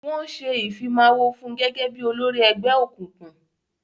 Wọ́n ṣé Ìfimáwo fun gẹ́gẹ́ bí olórí ẹgbẹ́ òkùnkùn